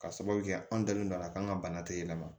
Ka sababu kɛ an dalen don a la k'an ka bana teliman